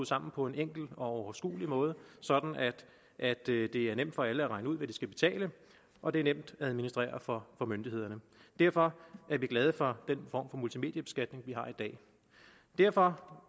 sammen på en enkel og overskuelig måde sådan at det er nemt for alle at regne ud hvad de skal betale og det er nemt at administrere for myndighederne derfor er vi glade for den form for multimediebeskatning vi har i dag derfor